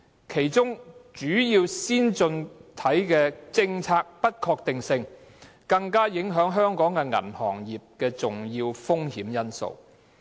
其中主要先進經濟體的政策不確定性更是影響香港銀行業的重要風險因素。